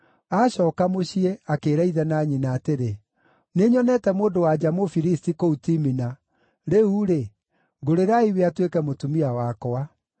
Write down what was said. Acooka mũciĩ, akĩĩra ithe na nyina atĩrĩ, “Nĩnyonete mũndũ-wa-nja Mũfilisti kũu Timina; rĩu-rĩ, ngũrĩrai we atuĩke mũtumia wakwa.”